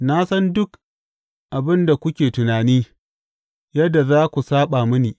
Na san duk abin da kuke tunani, yadda za ku saɓa mini.